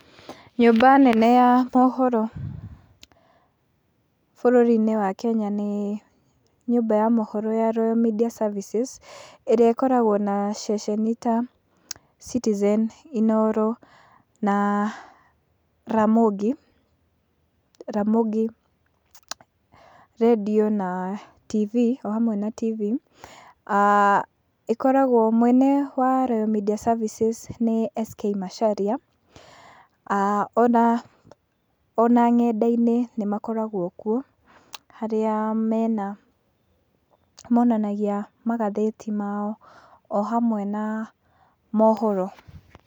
Nyũmba nene ya mohoro bũrũri-inĩ wa Kenya nĩ nyũmba mohoro ya Royal Media Services, ĩrĩa ĩkoragwo na ceceni ta Citizen, Inooro na Ramogi , Ramogi redio na TV o hamwe na TV, ah ĩkoragwo mwene wa Royal Media Services nĩ S.K Macharia , ah ona nenda-inĩ nĩ makoragwo kuo harĩa mena monanagia magathĩti mao o hamwe na mohoro.